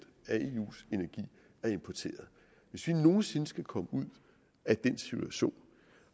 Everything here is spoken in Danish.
af importeret hvis vi nogen sinde skal komme ud af den situation